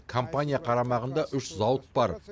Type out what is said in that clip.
компания қарамағында үш зауыт бар